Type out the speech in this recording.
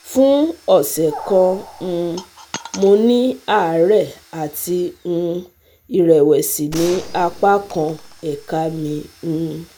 fún ọ̀sẹ̀ kan um mo ní àárẹ̀ àti um ìrẹ̀wẹ̀sì ní apá kan ẹ̀ka mi um